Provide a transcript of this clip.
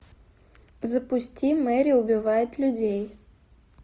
запусти мэри убивает людей